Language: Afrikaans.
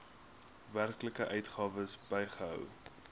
werklike uitgawes bygehou